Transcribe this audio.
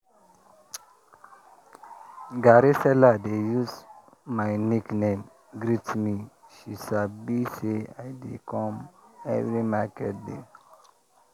garri seller dey use my nickname greet me she sabi say i dey come every market day.